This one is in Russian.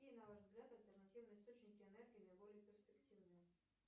какие на ваш взгляд альтернативные источники энергии наиболее перспективные